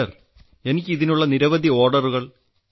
sir എനിക്ക് ഇതിനുള്ള നിരവധി ഓർഡറുകൾ ലഭിച്ചിട്ടുണ്ട്